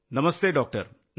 Namaste doctor.